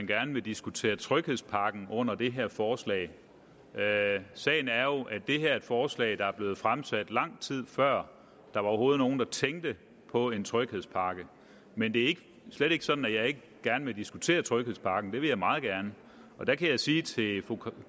gerne vil diskutere tryghedspakken under det her forslag sagen er jo at det her forslag er blevet fremsat lang tid før der overhovedet var nogen der tænkte på en tryghedspakke men det er slet ikke sådan at jeg ikke gerne vil diskutere tryghedspakken det vil jeg meget gerne og der kan jeg sige til fru